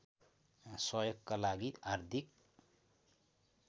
सहयोगका लागि हार्दिक